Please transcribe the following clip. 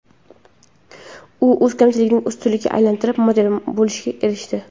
U o‘z kamchiligini ustunlikka aylantirib, model bo‘lishga erishdi.